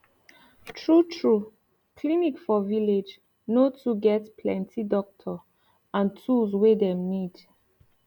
tru tru clinic for village no too get plenti doctor and tools wey dem need